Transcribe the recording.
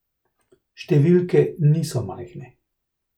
Številke niso majhne.